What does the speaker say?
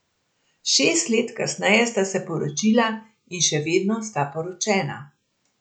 Šest let kasneje sta se poročila in še vedno sta poročena.